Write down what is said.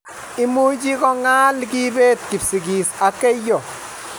imuchi ko ngal kibet kipsigis ak keiyo